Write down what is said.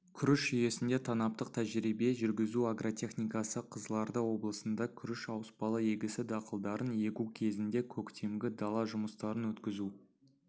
күріш жүйесінде танаптық тәжірибе жүргізу агротехникасы қызылорда облысында күріш ауыспалы егісі дақылдарын егу кезінде көктемгі-дала жұмыстарын өткізу